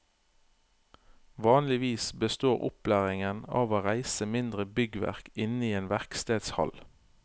Vanligvis består opplæringen av å reise mindre byggverk inne i en verkstedhall.